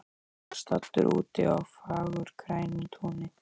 Hann var staddur úti á fagurgrænu túni.